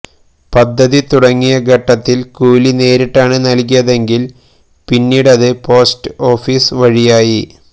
പദ്ധതി തുടങ്ങിയ ഘട്ടത്തിൽ കൂലി നേരിട്ടാണ് നൽകിയതെങ്കിൽ പിന്നീടത് പോസ്റ്റ് ഓഫീസ് വഴിയായി